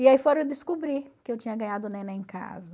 E aí foram descobrir que eu tinha ganhado neném em casa.